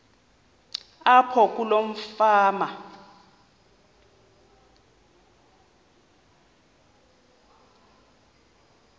apho kuloo fama